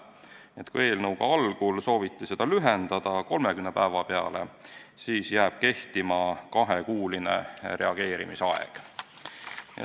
Nii et kui eelnõuga sooviti algul seda aega lühendada 30 päeva peale, siis nüüd jääb kehtima kahekuuline reageerimisaeg.